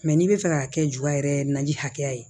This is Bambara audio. n'i bɛ fɛ ka kɛ ju yɛrɛ naji hakɛya ye